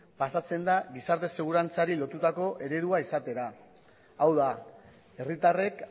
pasatzen da gizarte segurantzari lotutako eredua izatera hau da herritarrek